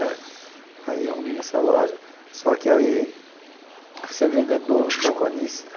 Né aí arrumei nessa loja, só que aí fui ser vendedor, balconista.